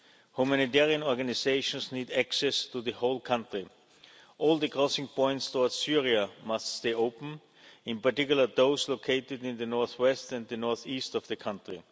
Humanitarian organisations need access to the whole country. All the crossing points towards Syria must stay open, in particular those located in the north west and the north east of the country.